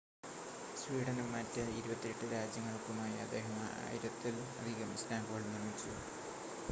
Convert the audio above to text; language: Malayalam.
സ്വീഡനും മറ്റ് 28 രാജ്യങ്ങൾക്കുമായി അദ്ദേഹം 1,000-ത്തിൽ അധികം സ്റ്റാമ്പുകൾ നിർമ്മിച്ചു